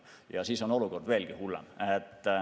Ja siis on olukord veelgi hullem.